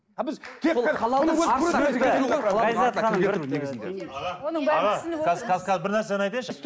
қазір бір нәрсені айтайыншы